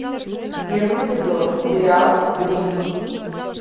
первый сезон сериал гримм